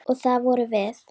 Og það vorum við.